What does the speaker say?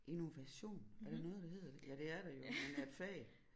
Innovation er der noget der hedder det ja det er der jo men et fag